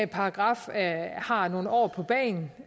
paragraf har nogle år på bagen